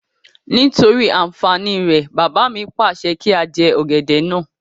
Nítorí àǹfàní rẹ̀, bàbá mi pàṣẹ kí á jẹ ọ̀gẹ̀dẹ̀ náà